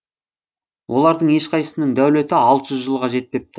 олардың ешқайсысының дәулеті алты жүз жылға жетпепті